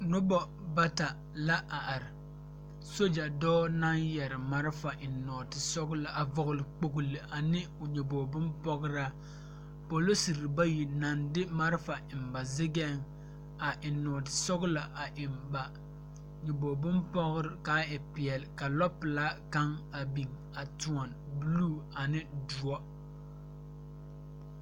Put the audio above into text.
Nobɔ bata la a are sogya dɔɔ naŋ yɛre marefa eŋ nɔɔte sɔglɔ a vɔgle kpogle a ne o nyoge bonpɔgraa polisere bayi naŋ de marefa eŋ ba zigɛŋ a eŋ nɔɔte sɔglɔ a eŋ ba nyoboge bonpɔgrre kaa e peɛle ka lɔ pelaa kaŋ meŋ a biŋ a tóɔne bluu ane doɔ.